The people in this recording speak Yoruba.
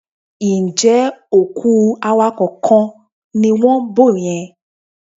Ǹjẹ́ òkú awakọ̀ kan ni wọ́n ń bò yẹn?